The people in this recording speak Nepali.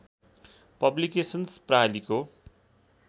पब्लिकेसन्स प्रालिको